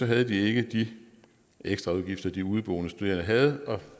havde de ikke de ekstraudgifter de udeboende studerende havde og